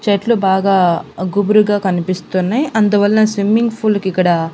చెట్లు బాగా గుబురుగా కనిపిస్తున్నయి అందువల్ల స్విమ్మింగ్ ఫూల్ కి ఇక్కడ.